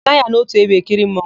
A naghị anọ ótù ebe ekiri mmanwụ.